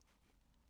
DR K